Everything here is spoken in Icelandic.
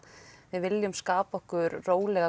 við viljum skapa okkur rólega